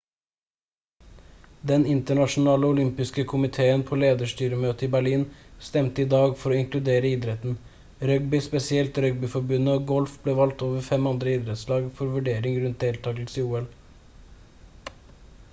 den internasjonale olympiske komitéen på lederstyremøte i berlin stemte i dag for å inkludere idretten rugby spesielt rugbyforbund og golf ble valgt over fem andre idrettslag for vurdering rundt deltagelse i ol